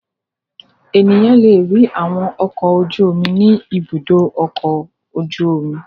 Ènìyàn le rí àwọn ọkọ̀ ojú-omi ní Ibùdó-ọkọ̀ ojú-omi.